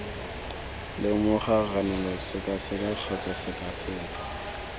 lemoga ranola sekaseka kgotsa sekaseka